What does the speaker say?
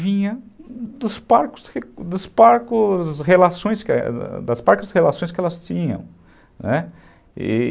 vinha dos relações que elas tinham, né